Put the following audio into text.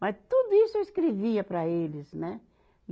Mas tudo isso eu escrevia para eles, né?